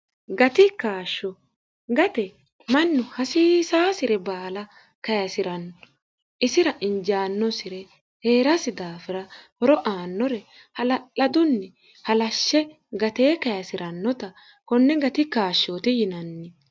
gati kaashsho gate mannu hasiisaasire baala kayisi'ranno isira injaannosire hee'rasi daafira horo aannore hala'ladunni halashshe gatee kayisi'rannota konne gati kaashshooti yinanni